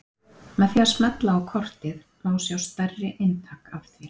með því að smella á kortið má sjá stærri eintak af því